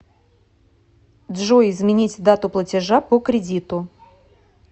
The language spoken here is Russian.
джой изменить дату платежа по кредиту